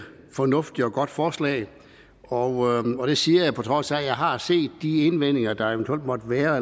fornuftigt og godt forslag og og det siger jeg på trods af at jeg har set de indvendinger der eventuelt måtte være